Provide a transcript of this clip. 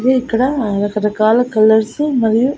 ఇది ఇక్కడ రకరకాల కలర్స్ మరియు.